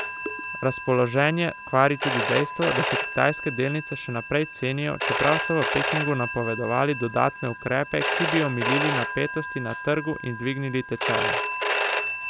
Razpoloženje kvari tudi dejstvo, da se kitajske delnice še naprej cenijo, čeprav so v Pekingu napovedali dodatne ukrepe, ki bi omilili napetosti na trgu in dvignili tečaje.